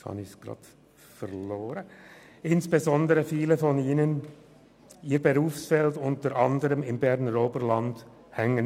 Viele dieser Studierenden bleiben im Berner Oberland hängen.